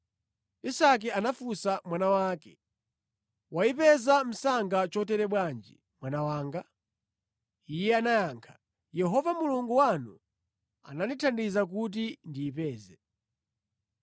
Isake anafunsa mwana wake, “Wayipeza msanga chotere bwanji mwana wanga?” Iye anayankha, “Yehova Mulungu wanu anandithandiza kuti ndiyipeze.”